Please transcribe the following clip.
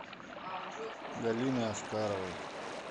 галины аскаровой